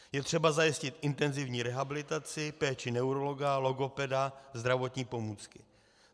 Je třeba zajistit intenzivní rehabilitaci, péči neurologa, logopeda, zdravotní pomůcky.